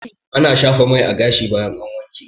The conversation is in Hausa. Ana shafa mai a gashi bayan an wanke